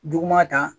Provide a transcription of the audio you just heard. Duguma ta